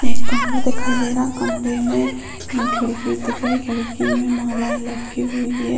एक कमरा दिखाई दे रहा है कमरे में खिड़की दिख रही खिड़की में मालायें लटकी हुई हैं।